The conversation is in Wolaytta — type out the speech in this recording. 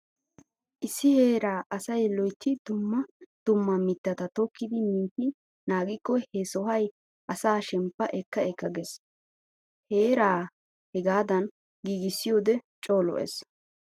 Issi heeraa asay loytti dumma dumma mittata tokkidi mintti naagikko he sohay asaa shemppa ekka ekka giissees. Heeraa hegaadan giigissiyode co lo'ees.